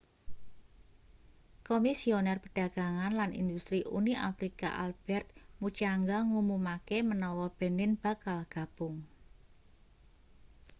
komisioner perdagangan lan industri uni afrika albertrt muchanga ngumumake menawa benin bakal gabung